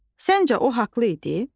Səncə o haqlı idi?